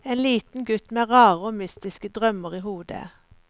En liten gutt med rare og mystiske drømmer i hodet.